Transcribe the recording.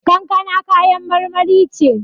Kankana kayan marmari ce.